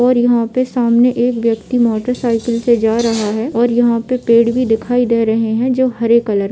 और यहा पे सामने एक व्यक्ति मोटर साइकल पे जा रहा है और यहा पे पेड़ ही दिखाय दे रहे है जो हरे कलर --